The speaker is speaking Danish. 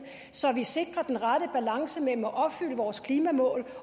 så vi sikrer den rette balance mellem at opfylde vores klimamål